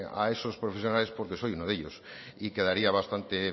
a esos profesionales porque soy uno de ellos y quedaría bastante